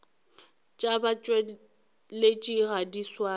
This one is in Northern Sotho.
tša batšweletši ga di swane